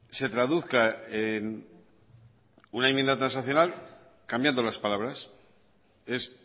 se traduzca en una enmienda transaccional cambiando las palabras es